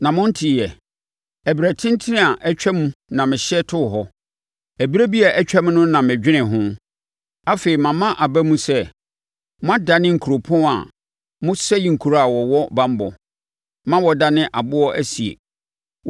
“Na Monteeɛ? Ɛberɛ tentene a atwam na mehyɛ too hɔ. Ɛberɛ bi a atwam no na medwenee ho; afei mama aba mu sɛ, moadane nkuropɔn a mosɛe nkuro a wɔwɔ banbɔ ma wɔdane aboɔ asie.